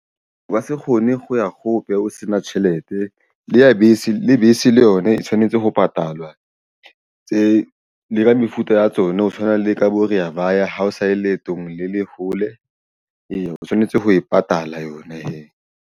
Ka se kgone ho ya kgope o se na tjhelete le ya bese le bese le yona e tshwanetse ho patalwa tse le ka mefuta ya tsona ho tshwana le ka bo Reya Vaya ha o sa ye leetong le hole eya o tshwanetse ho e patala yona he.